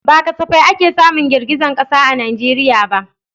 Ba kasafai ake samun girgizar kasa a Najeriya ba.